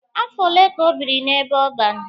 Afọ ole ka o biri n'ebe ọban?